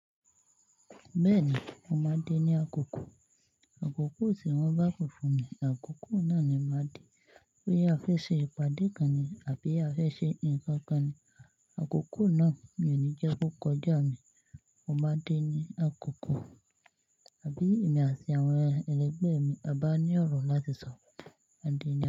Bẹ́ẹ̀ni, mó máa de ni àkókò. Àkókò tí wọ́n bá si fún mi, àkókò náà ni màá din. Bóyá a fẹ́ ṣe ìpàdé kan ni àbí á fẹ́ ṣe nǹkan kan ni, àkókò náà mi ò ní jẹ́ kó kọjá mi. Mo máa dín ni àkókò. Àbí èmi àti àwọn ẹlẹgbẹ́ mi a bá ní ọ̀rọ̀ láti sọ, mo ma de ni àkókò.